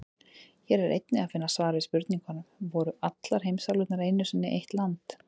Hér er einnig að finna svar við spurningunum: Voru allar heimsálfurnar einu sinni eitt land?